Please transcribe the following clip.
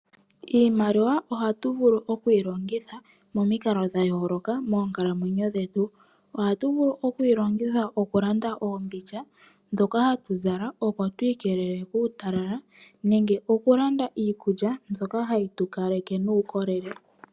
Iimaliwa ohatu vulu oku yilongitha momikalo dhayoolokathana moonkalamwenyo dhetu. Ohatu vulu oku yilongitha okulanda oombindja dhoka hadhi tu keelele kuutalala oshowo iikulya mbyoka hayi tu kaleke nuukolele.